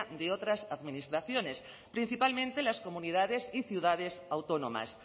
de otras administraciones principalmente las comunidades y ciudades autónomas